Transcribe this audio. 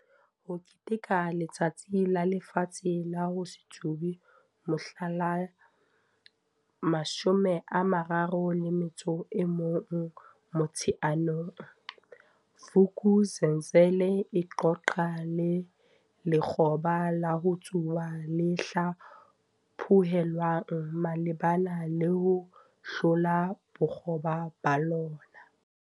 HO KETEKELA Letsatsi la Lefatshe la ho se Tsube mohla la 31 Motsheanong, Vuk'uzenzele e qoqa le lekgoba la ho tsuba le hlaphohelwang malebana le ho hlola bokgoba ba lona.